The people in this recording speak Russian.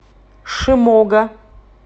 шимога